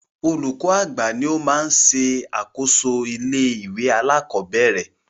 Olúkọ́ àgbà ní o má ń ṣe àkóso ilé ìwé alákọ̀berẹ̀.